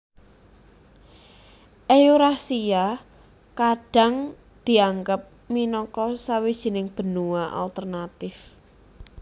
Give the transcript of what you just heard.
Eurasia kadhang dianggep minangka sawijining benua alternatif